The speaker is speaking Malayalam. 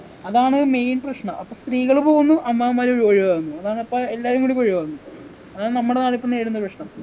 അതാണ് main പ്രശ്നം അപ്പൊ സ്ത്രീകൾ പോകുന്നു അമ്മാവന്മാര് ഒഴ് ഒഴിവാകുന്നു അതാണിപ്പൊ എല്ലാവരും കൂടി ഒക്കെ ഒഴിവാകുന്നു അതാ നമ്മുടെ നാടിപ്പൊ നേരിടുന്ന പ്രശ്നം